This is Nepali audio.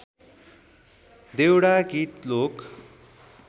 देउडा गित लोक